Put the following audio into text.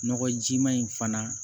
Nɔgɔjima in fana